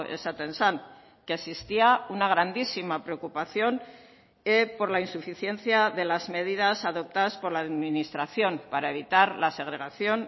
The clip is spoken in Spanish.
esaten zen que existía una grandísima preocupación por la insuficiencia de las medidas adoptadas por la administración para evitar la segregación